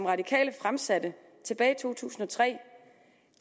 radikale fremsatte tilbage i to tusind og tre